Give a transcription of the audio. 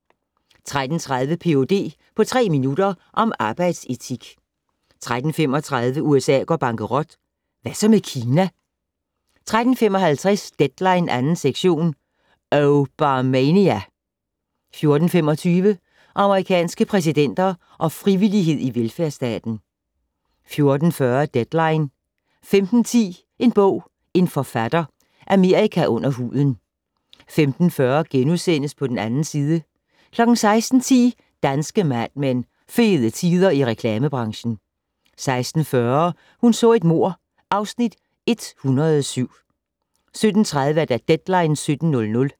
13:30: Ph.d. på tre minutter -om arbejdsetik 13:35: USA går bankerot - Hvad så med Kina? 13:55: Deadline 2. sektion - Obamania! 14:25: Amerikanske præsidenter og frivillighed i velfærdsstaten 14:40: Deadline 15:10: En bog - en forfatter: Amerika under huden 15:40: På den 2. side * 16:10: Danske Mad Men: Fede tider i reklamebranchen. 16:40: Hun så et mord (Afs. 107) 17:30: Deadline 17.00